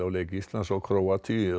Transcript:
leik Íslands og Króatíu